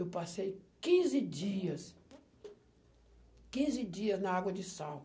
Eu passei quinze dias, quinze dias na água de sal.